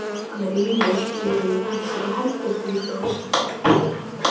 Hann rífur bréfið í tætlur og hendir því frá sér.